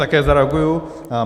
Také zareaguji.